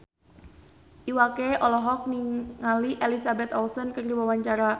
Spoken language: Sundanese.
Iwa K olohok ningali Elizabeth Olsen keur diwawancara